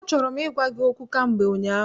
Achọrọ m ịgwa gị okwu kamgbe ụnyaahụ.